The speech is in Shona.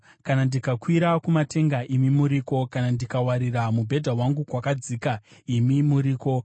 Kana ndikakwira kumatenga, imi muriko; kana ndikawarira mubhedha wangu kwakadzika, imi muriko.